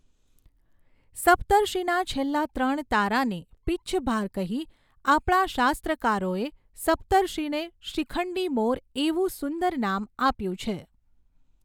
સપ્તર્ષિના છેલ્લા ત્રણ તારાને પિચ્છભાર કહી આપણા શાસ્ત્રકારોએ સપ્તર્ષિને શિખંડી મોર એવું સુંદર નામ આપ્યું છે.